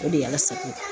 O de ye ala sago